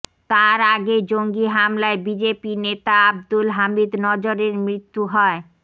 তার আগে জঙ্গি হামলায় বিজেপি নেতা আবদুল হামিদ নজরের মৃত্যু হয়